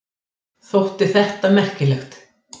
Þótti þetta merkilegt.